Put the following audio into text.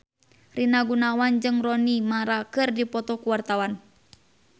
Rina Gunawan jeung Rooney Mara keur dipoto ku wartawan